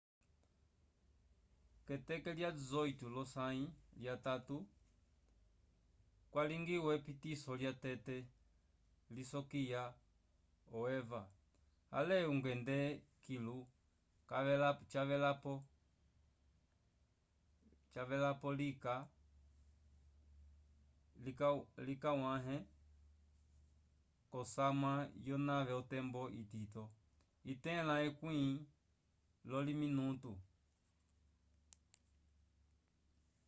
k'eteke lya 18 lyosãyi lyatatu kwalingiwa epitiso lyatete lisokiya o eva ale ungende kilu cavelapo likawãhe k'osamwa yonave otembo itito itẽla ekwĩ lyolominutu